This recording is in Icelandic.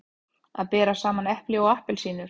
Að bera saman epli og appelsínur